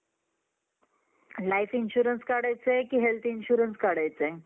Life Insurance काढायचं आहे का Health Insurance काढायचं आहे?